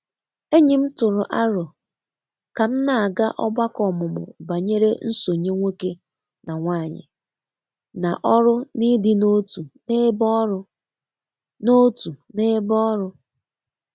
Enyim tụrụ arọ kam na aga ọgbako omumu banyere nsonye nwoke na nwanyi na ọrụ n'ịdị na-otu n'ebe ọrụ. na-otu n'ebe ọrụ.